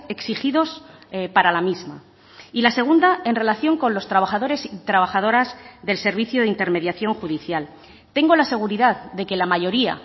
exigidos para la misma y la segunda en relación con los trabajadores y trabajadoras del servicio de intermediación judicial tengo la seguridad de que la mayoría